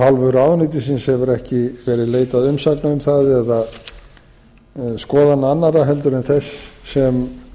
hálfu ráðuneytisins hefur ekki verið leitað umsagnar um það eða skoðun annarra en þess sem